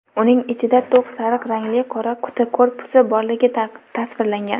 uning ichida to‘q sariq rangli "qora quti" korpusi borligi tasvirlangan.